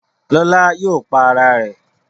Lola yóò pá Àrà rẹ̀.